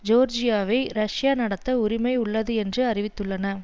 ஜோர்ஜியாவை Russia நடத்த உரிமை உள்ளது என்று அறிவித்துள்ளன